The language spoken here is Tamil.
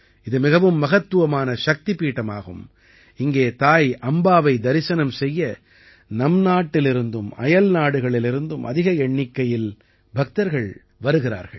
இது மிகவும் மகத்துவமான சக்திபீடமாகும் இங்கே தாய் அம்பாவை தரிசனம் செய்ய நம் நாட்டிலிருந்தும் அயல்நாடுகளிலிருந்தும் அதிக எண்ணிக்கையில் பக்தர்கள் வருகிறார்கள்